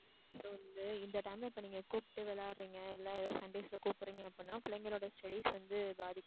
so வந்து இந்த time ல இப்ப நீங்க கூப்பிட்டு விளையாடறீங்க இல்லை ஏதோ sundays ல கூப்பிடறீங்க அப்படின்னா பிள்ளைங்களோட studies வந்து பாதிக்குது